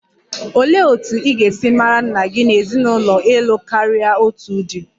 Olee otú ị ga-esi mara nna gị n'ezinụlọ ịlụ karia otu di?